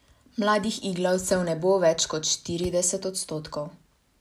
Mladih iglavcev ne bo več kot štirideset odstotkov.